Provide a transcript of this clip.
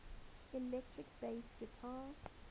electric bass guitar